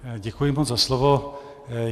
Děkuji moc za slovo.